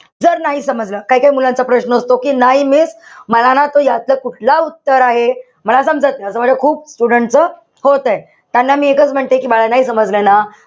जर नाही समजलं. काई-काई मुलांचा प्रश्न असतो कि नाही miss मला ना तो यातला कुठलं उत्तर आहे, मला समजत नाई. असं माझं खूप students च होतंय. त्यांना मी एकच म्हणते कि बाळा, नाई समजलं ना?